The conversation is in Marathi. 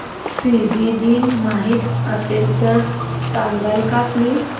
फिजी दिन माहीत असेल तर सांगाल का प्लीज